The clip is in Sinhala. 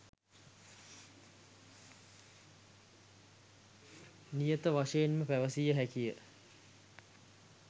නියත වශයෙන්ම පැවසිය හැකිය.